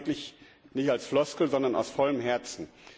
Und das sage ich wirklich nicht als Floskel, sondern aus vollem Herzen.